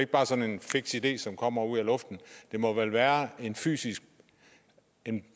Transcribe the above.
bare sådan en fiks idé som kommer ud af luften der må vel være en fysisk